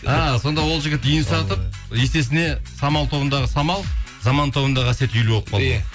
а сонда ол жігіт үйін сатып есесіне самал тобындағы самал заман тобындағы әсет үйлі болып қалды иә